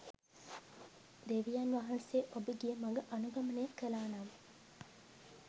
දෙවියන් වහන්සේ ඔබ ගිය මඟ අනුගමනය කළා නම්